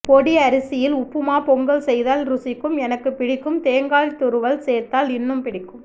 பொடி அரிசியில் உப்புமா பொங்கல் செய்தால் ருசிக்கும் எனக்குப் பிடிக்கும் தேங்காய் துருவல் சேர்த்தால் இன்னும்பிடிக்கும்